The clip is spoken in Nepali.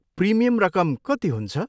प्रिमियम रकम कति हुन्छ?